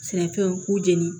Sɛnɛfɛnw k'u jeni